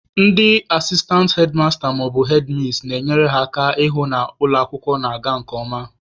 Ndị asistantị hedmasta/hedmis na-enyere ha aka ịhụ na ụlọ akwụkwọ na-aga nke ọma.